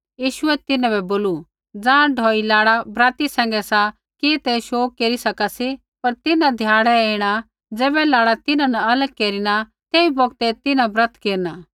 यीशुऐ तिन्हां बै बोलू ज़ाँ ढौई लाड़ा बराती सैंघै सा कि ते शोग केरी सका सी पर तिन्हां ध्याड़ै ऐणा ज़ैबै लाड़ा तिन्हां न लग केरिना तेई बौगतै तिन्हां ब्रत केरना